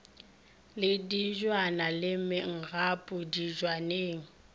le dibjana le mengapo dibjaneng